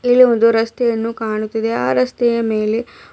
ಇಲ್ಲಿ ಒಂದು ರಸ್ತೆಯನ್ನು ಕಾಣುತ್ತಿದೆ ಆ ರಸ್ತೆಯ ಮೇಲೆ--